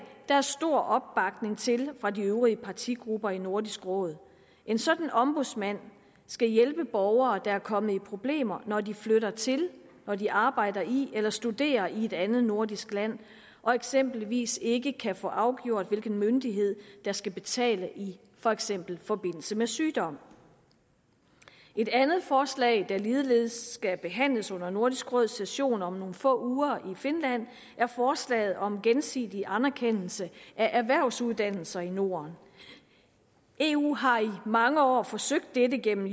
der er stor opbakning til fra de øvrige partigrupper i nordisk råd en sådan ombudsmand skal hjælpe borgere der er kommet i problemer når de flytter til når de arbejder i eller studerer i et andet nordisk land og eksempelvis ikke kan få afgjort hvilken myndighed der skal betale for eksempel i forbindelse med sygdom et andet forslag der ligeledes skal behandles under nordisk råds session om nogle få uger i finland er forslaget om gensidig anerkendelse af erhvervsuddannelser i norden eu har i mange år forsøgt dette gennem